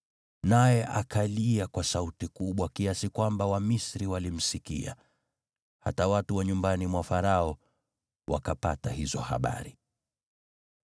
Naye akalia kwa sauti kubwa kiasi kwamba Wamisri walimsikia, hata watu wa nyumbani mwa Farao wakapata hizo habari.